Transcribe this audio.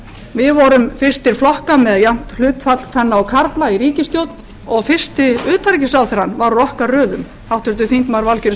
við vorum fyrstir flokka með jafnt hlutfall kvenna og karla í ríkisstjórn og fyrsti utanríkisráðherrann var úr okkar röðum háttvirtur þingmaður valgerður